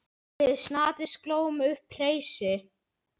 Við Snati slógum upp hreysi.